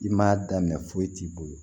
I m'a daminɛ foyi t'i bolo